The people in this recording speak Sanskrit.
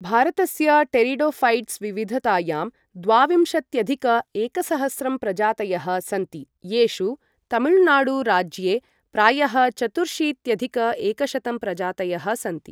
भारतस्य टेरिडोऴैट्स् विविधतायां द्वाविंशत्यधिक एकसहस्रं प्रजातयः सन्ति, येषु तमिळुनाडुराज्ये प्रायः चतुर्शीत्यधिक एकशतं प्रजातयः सन्ति।